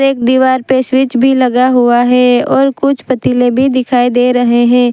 एक दीवार पे स्विच भी लगा हुआ है और कुछ पतीले भी दिखाई दे रहे हैं।